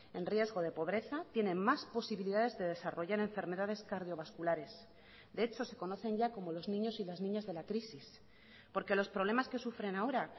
en riesgo de pobreza tienen más posibilidades de desarrollar enfermedades cardiovasculares de hecho se conocen ya como los niños y las niñas de la crisis porque los problemas que sufren ahora